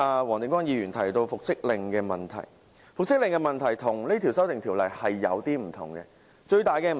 黃定光議員剛才提到復職令的問題，其實與這項修訂條例有點不同。